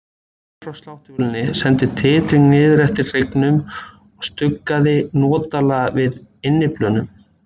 Hljóðið frá sláttuvélinni sendi titring niður eftir hryggnum og stuggaði notalega við innyflunum.